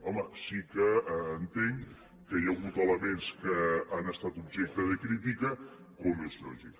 home sí que entenc que hi ha hagut elements que han estat objecte de crítica com és lògic